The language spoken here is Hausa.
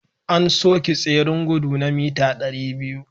An soke tseren gudu na mita 200